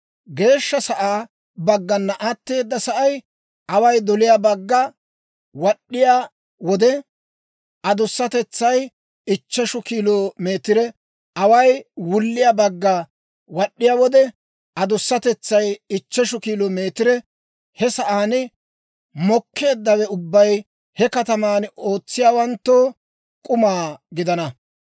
Geeshsha sa'aa baggana atteeda sa'ay away doliyaa bagga wad'd'iyaa wode, adusatetsay ichcheshu kilo meetire; away wulliyaa bagga wad'd'iyaa wode, adusatetsay ichcheshu kilo meetire. He sa'aan mokkeeddawe ubbay he kataman ootsiyaawanttoo k'uma gidana.